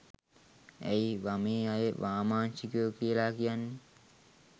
ඇයි වමේ අය වාමාංශිකයො කියල කියන්නේ.